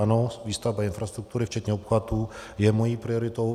Ano, výstavba infrastruktury včetně obchvatu je mou prioritou.